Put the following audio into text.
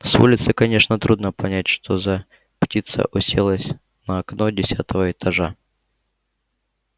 с улицы конечно трудно понять что за птица уселась на окно десятого этажа